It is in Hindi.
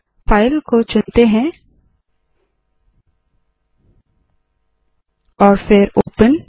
फाइल को चुनते है और फिर ओपन